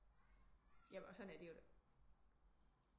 Ja og sådan er det jo det er